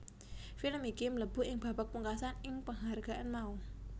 Film iki mlebu ing babak pungkasan ing penghargaan mau